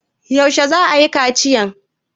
Yaushe za a yi kaciyan?